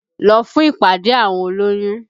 Lọ fún ìpàdé àwọn olóyún!